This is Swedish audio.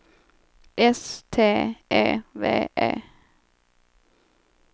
S T E V E